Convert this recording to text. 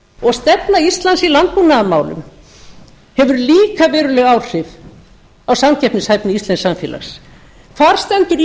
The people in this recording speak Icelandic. og stefna íslands í landbúnaðarmálum hefur líka veruleg áhrif á samkeppnishæfni íslensks samfélags hvar stendur